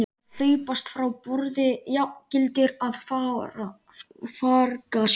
Að hlaupast frá borði jafngildir að farga sér.